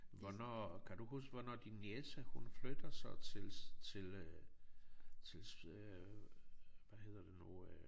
Hvornår kan du huske hvornår din niece hun flytter så til til øh til øh hvad hedder det nu øh